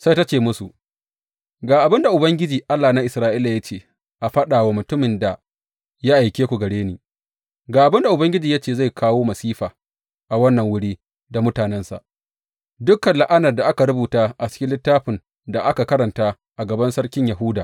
Sai ta ce musu, Ga abin da Ubangiji, Allah na Isra’ila ya ce faɗa wa mutumin da ya aike ku gare ni, Ga abin da Ubangiji ya ce zai kawo masifa a wannan wuri da mutanensa, dukan la’anar da aka rubuta a cikin littafin da aka karanta a gaban sarkin Yahuda.